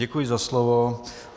Děkuji za slovo.